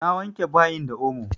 Na wanke bayin da omo.